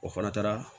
O fana taara